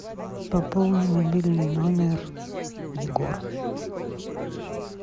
пополни мобильный номер егор